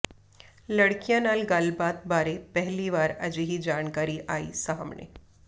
ਲੜਕੀਆਂ ਨਾਲ ਗੱਲਬਾਤ ਬਾਰੇ ਪਹਿਲੀ ਵਾਰ ਅਜਿਹੀ ਜਾਣਕਾਰੀ ਆਈ ਸਾਹਮਣੇ